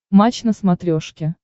матч на смотрешке